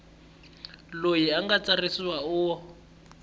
loyi a nga tsarisiwa u